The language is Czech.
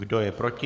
Kdo je proti?